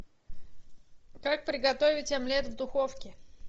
как приготовить омлет в духовке